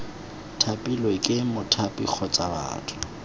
thapilwe ke mothapi kgotsa batho